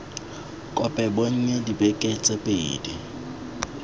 kopo bonnye dibeke tse pedi